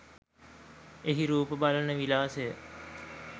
එහි රූප බලන විලාසය